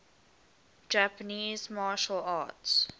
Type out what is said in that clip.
japanese martial arts